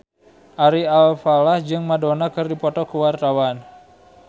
Ari Alfalah jeung Madonna keur dipoto ku wartawan